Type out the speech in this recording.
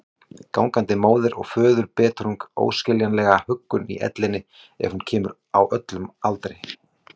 Gangandi móður- og föðurbetrung, óskiljanlega huggun í ellinni ef hún kemur, á öllum aldri.